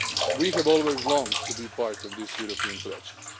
very much. We have always longed to be part of this European